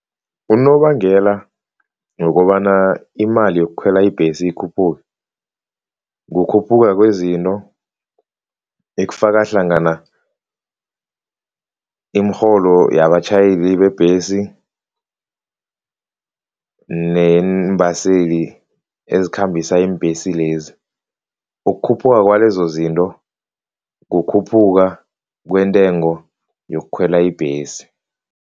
Unobangela wokobana imali yokukhwela ibhesi ikhuphuke, kukhuphuka kwezinto ekufaka hlangana iimirholo yabatjhayeli bebhesi neembaseli ezikhambisana iimbhesi lezi. Ukukhuphuka kwalezozinto, kukhuphuka kwentengo yokukhwela ibhesi.